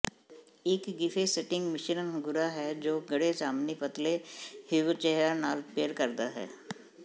ਇੱਕ ਗ੍ਰਿਫੈਸਟਿੰਗ ਮਿਸ਼ਰਨ ਗੂਰਾ ਹੈ ਜੋ ਗੂੜ੍ਹੇ ਜਾਮਨੀ ਪਤਲੇ ਹਿਊਚੇਹਰਾ ਨਾਲ ਪੇਅਰ ਕਰਦਾ ਹੈ